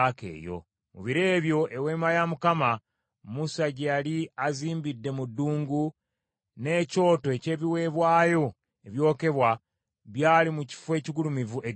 Mu biro ebyo Eweema ya Mukama , Musa gye yali azimbidde mu ddungu, n’ekyoto eky’ebiweebwayo ebyokebwa byali mu kifo ekigulumivu e Gibyoni.